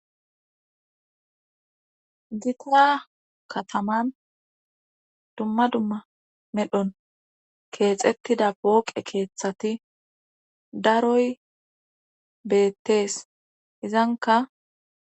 Ditia kataman dumma dumma medhon keexettida booqe keeththati daroy beettees izanka.